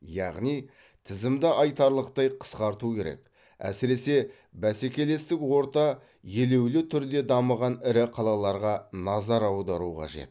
яғни тізімді айтарлықтай қысқарту керек әсіресе бәсекелестік орта елеулі түрде дамыған ірі қалаларға назар аудару қажет